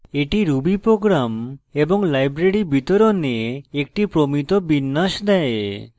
এটি ruby programs এবং libraries বিতরণে একটি প্রমিত বিন্যাস দেয়